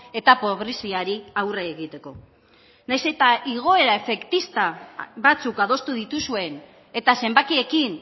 eta pobreziari aurre egiteko nahiz eta igoera efektista batzuk adostu dituzuen eta zenbakiekin